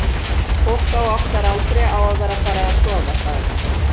fólk á okkar aldri á að vera farið að sofa, sagði hann.